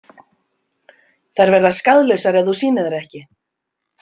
Þær verða skaðlausar ef þú sýnir þær ekki.